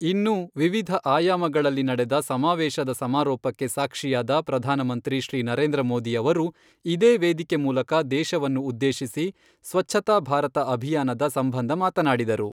ಇನ್ನೂ ವಿವಿಧ ಆಯಾಮಗಳಲ್ಲಿ ನಡೆದ ಸಮಾವೇಶದ ಸಮಾರೋಪಕ್ಕೆ ಸಾಕ್ಷಿಯಾದ ಪ್ರಧಾನಮಂತ್ರಿ ಶ್ರೀ ನರೇಂದ್ರ ಮೋದಿ ಅವರು ಇದೇ ವೇದಿಕೆ ಮೂಲಕ ದೇಶವನ್ನು ಉದ್ದೇಶಿಸಿ ಸ್ವಚ್ಛತಾ ಭಾರತ ಅಭಿಯಾನದ ಸಂಬಂಧ ಮಾತನಾಡಿದರು.